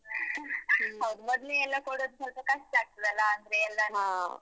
ಹೌದು. ಮೊದ್ಲೇ ಎಲ್ಲ ಕೊಡೋದ್ ಸ್ವಲ್ಪ ಕಷ್ಟ ಆಗ್ತದಲ್ಲ? ಅಂದ್ರೆ ಎಲ್ಲ,